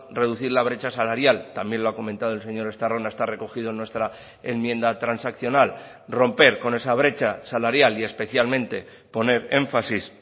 reducir la brecha salarial también lo ha comentado el señor estarrona está recogido en nuestra enmienda transaccional romper con esa brecha salarial y especialmente poner énfasis